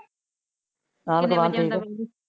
ਆਪ ਦਾਵਰ